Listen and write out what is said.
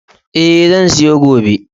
E, zan siyo gobe.